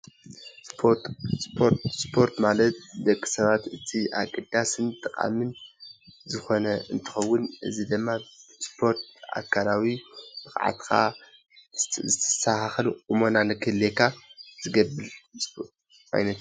ስፖርት፦ ስፖርት ማለት ንደቂሰባት ኣገዳስን ጠቃሚን ዝኮነ እንትከውን እዚ ድማ ስፖርት ኣካላዊ ብቅዓትካ ዝተስተካከለ ቁመና ንክህልየካ ዝገብር ዓይነት እዩ።